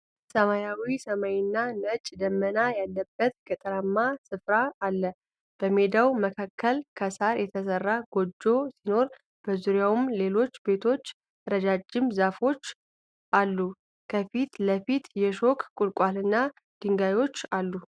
ሰማያዊ ሰማይና ነጭ ደመና ያለበት ገጠራማ ስፍራ አለ። በሜዳው መካከል ከሳር የተሰራ ጎጆ ሲኖር፣ በዙሪያው ሌሎች ቤቶችና ረጃጅም ዛፎች አሉ። ከፊት ለፊት የሾክ ቁልቋልና ድንጋዮች አሉ።